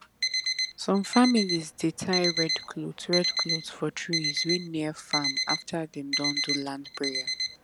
some families dey tie red cloth red cloth for trees wey near farm after dem don do land prayer